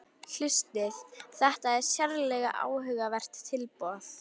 Hlustið: þetta er sérlega áhugavert tilboð